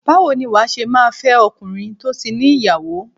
Báwo ni wà á ṣe máa fẹ́ ọkùnrin tó ti ní ìyàwó?